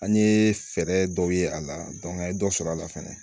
An ye fɛɛrɛ dɔw ye a la an ye dɔ sɔrɔ a la fɛnɛ